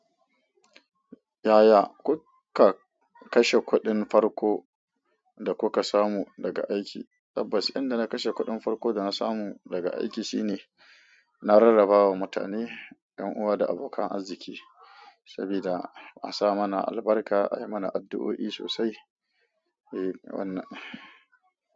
Yaya kuka kashe kuɗin farko da kuka samu daga aiki? Tabbas, inda na kashe kuɗin farko da na samu daga aiki shine na rarraba wa mutane, 'yan uwa da abokan arziki, sabida a sa mana albarka, ayi mana addu'o'i sosai. Eh, wannan.